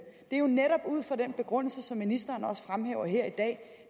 det er netop ud fra den begrundelse som ministeren også fremhæver her i dag